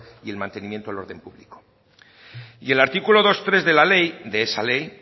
y el mantenimiento del orden público y el artículo dos punto tres de la ley de esa ley